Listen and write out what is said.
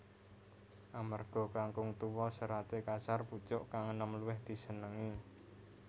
Amarga kangkung tuwa seraté kasar pucuk kang enom luwih disenengi